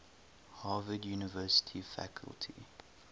harvard university faculty